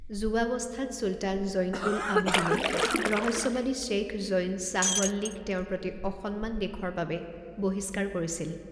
যুৱাৱস্থাত ছুলতান জৈন উল আবিদিনে ৰহস্যবাদী শ্বেইখ জৈন শ্বাহৱল্লীক তেওঁৰ প্ৰতি অসন্মান দেখুৱাবৰ বাবে বহিষ্কাৰ কৰিছিল।